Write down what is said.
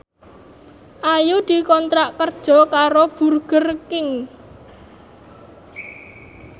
Ayu dikontrak kerja karo Burger King